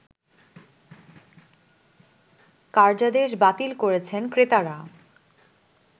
কার্যাদেশ বাতিল করছেন ক্রেতারা